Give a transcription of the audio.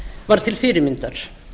var til fyrirmyndar